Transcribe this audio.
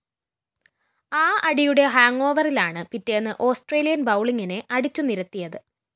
ആ അടിയുടെ ഹാങ്ങോവറിലാണ് പിറ്റേന്ന് ഓസ്‌ട്രേലിയന്‍ ബൗളിങ്ങിനെ അടിച്ചു നിരത്തിയത്